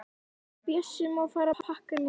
En Bjössi má fara að pakka niður.